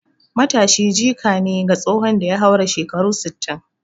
Matashi jika ne ga tsohon da ya haura shekaru sittin